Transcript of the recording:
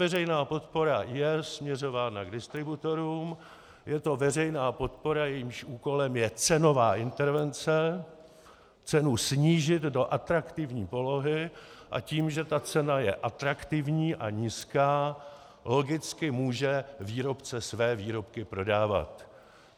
Veřejná podpora je směřována k distributorům, je to veřejná podpora, jejímž úkolem je cenová intervence, cenu snížit do atraktivní polohy, a tím, že ta cena je atraktivní a nízká, logicky může výrobce své výrobky prodávat.